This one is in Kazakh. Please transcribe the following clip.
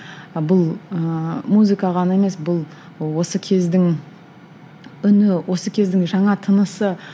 бұл ыыы музыка ғана емес бұл осы кездің үні осы кездің жаңа тынысы